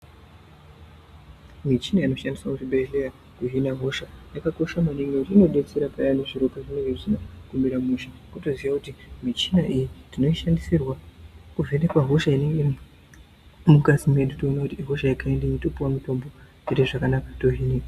Michina inoshandiswa kuzvibhedhlera kuzvina hosha yakakosha maningi ngekuti inodetsera peyani zviro pazvinenge zvisina kumira mushe wotoziya kuti michina iyi tinoishandisirwa kuzvinikwa hosha inenge iri mungazi medu toona kuti ihosha yekaindi iyi wotopuwa mutombo woite zvakanaka tohinika.